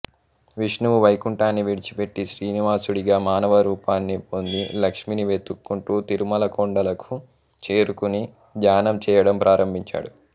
విష్ణువు వైకుంఠాన్ని విడిచిపెట్టి శ్రీనివాసుడిగా మానవ రూపాన్ని పొంది లక్ష్మిని వెతుక్కుంటూ తిరుమల కొండలకు చేరుకుని ధ్యానం చేయడం ప్రారంభించాడు